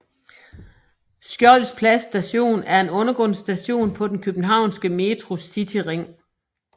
Skjolds Plads Station er en undergrundsstation på den københavnske Metros cityring